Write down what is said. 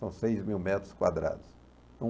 São seis mil metros quadrados.